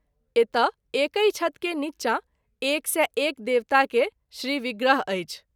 एतय एकहि छत के नीचा एक सौ एक देवता के श्री विग्रह अछि।